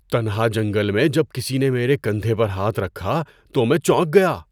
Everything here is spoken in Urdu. تنہا جنگل میں جب کسی نے میرے کندھے پر ہاتھ رکھا تو میں چونک گیا۔